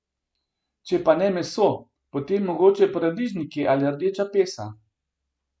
Če pa ne meso, potem mogoče paradižniki ali rdeča pesa.